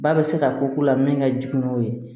Ba bɛ se ka ko ko la min ka jugu n'o ye